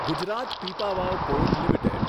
Gujarat Pipavav port limited